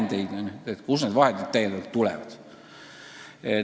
Nad küsivadki, kust need vahendid täiendavalt tulevad.